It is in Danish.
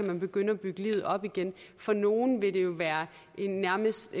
kan begynde at bygge livet op igen for nogle vil det være en nærmest